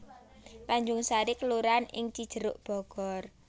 Tanjung Sari kelurahan ing Cijeruk Bogor